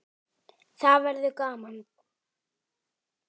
Það verður gaman.